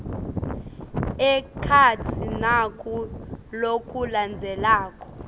ekhatsi naku lokulandzelako